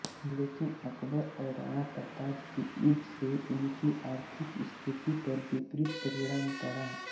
लेकिन अकबर और राणा प्रताप के युद्ध से इनकी आर्थिक स्थिति पर विपरीत परिणाम पड़ा